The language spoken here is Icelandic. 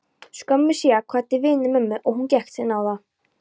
Skömmu síðar kvaddi vinur mömmu og hún gekk til náða.